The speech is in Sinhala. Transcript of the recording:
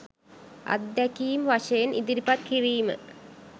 අත්දැකීම් වශයෙන් ඉදිරිපත් කිරීම